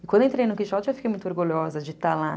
E quando eu entrei no Quixote, eu fiquei muito orgulhosa de estar lá.